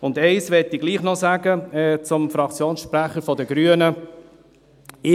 Eins möchte ich dem Fraktionssprecher der Grünen doch noch sagen: